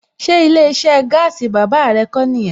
Ṣé ilé iṣẹ́ gaasi bàbá ẹ kó nìyẹn?